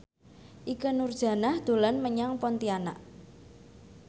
Ikke Nurjanah dolan menyang Pontianak